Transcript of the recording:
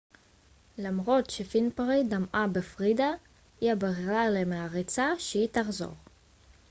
למרות שווינפרי דמעה בפרידה היא הבהירה למעריציה שהיא תחזור